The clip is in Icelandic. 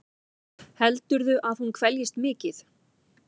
Heldurðu að hún kveljist mikið?